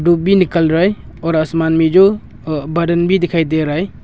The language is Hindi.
निकल रहा है और आसमान में जो अ बादन भी दिखाई दे रहा है।